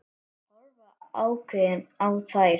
Horfa ákveðin á þær.